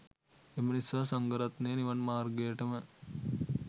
එම නිසා සංඝරත්නය නිවන් මාර්ගයටම